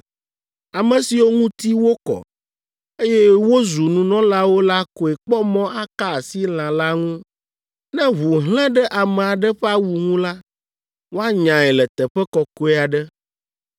Ame siwo ŋuti wokɔ, eye wozu nunɔlawo la koe kpɔ mɔ aka asi lã la ŋu. Ne ʋu hlẽ ɖe ame aɖe ƒe awu ŋu la, woanyae le teƒe kɔkɔe aɖe.